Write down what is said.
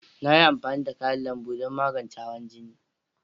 Na yi amfani da kayan lambu don magance hawan jini.